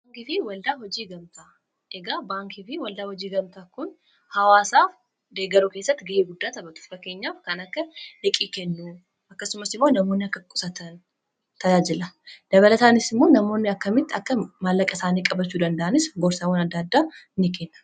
baankii fi waldaa hojii gamtaa kun hawaasaa deegaruu keessatti ga'ee guddaa taphatu fakkeenyaaf kan akka liqii kennu, akkasumas immoo namoonni akka qusaatan tajaajila dabalataanis immoo namoonni akkamitti akka maallaqa isaanii qabachuu danda'anis gorsaawwanaddaaddaa in kenna